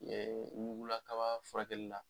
wula kaba furakɛli la